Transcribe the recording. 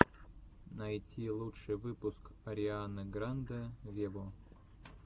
найти лучший выпуск арианы гранде вево